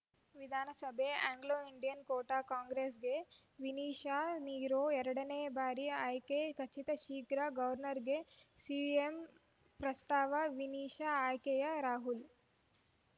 ವಿಧಾನಸಭೆ Anglo Indian quota ಕಾಂಗ್ರೆಸ್‌ಗೆ ವಿನಿಶಾ ನಿರೋ ಎರಡ ನೇ ಬಾರಿ ಆಯ್ಕೆ ಖಚಿತ ಶೀಘ್ರ ಗೌರ್ನರ್‌ಗೆ ಸಿಎಂ ಪ್ರಸ್ತಾವ ವಿನಿಶಾ ಆಯ್ಕೆಯೆ ರಾಹುಲ್‌